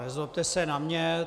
Nezlobte se na mě.